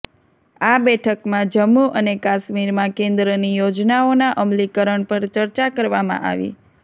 આ બેઠકમાં જમ્મુ અને કાશ્મીરમાં કેન્દ્રની યોજનાઓનાં અમલીકરણ પર ચર્ચા કરવામાં આવી